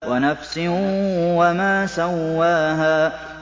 وَنَفْسٍ وَمَا سَوَّاهَا